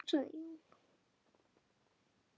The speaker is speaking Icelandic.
Þá sagði Jón